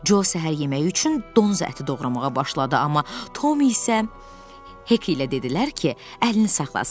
Co səhər yeməyi üçün donuz əti doğramağa başladı, amma Tom isə Hek ilə dedilər ki, əlini saxlasın.